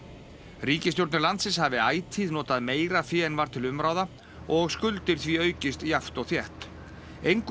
ríkisstjórnir landsins hafi ætíð notað meira fé en var til umráða og skuldir því aukist jafnt og þétt engu að